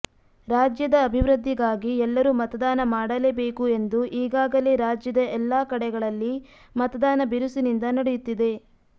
ರಾಜ್ಯದ ಅಭಿವೃದ್ಧಿಗಾಗಿ ಎಲ್ಲರೂ ಮತದಾನ ಮಾಡಲೇ ಬೇಕು ಎಂದು ಈಗಾಗಲೇ ರಾಜ್ಯದ ಎಲ್ಲಾ ಕಡೆಗಳಲ್ಲಿ ಮತದಾನ ಬಿರುಸಿನಿಂದ ನಡೆಯುತ್ತಿದೆ